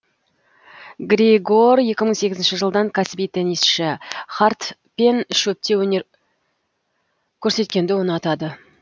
григор екі мың сегізінші жылдан кәсіби теннисшы хард пен шөпте өнер көрсеткенді ұнатады